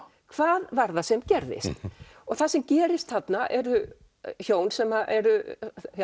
hvað var það sem gerðist og það sem gerist þarna hjón sem eru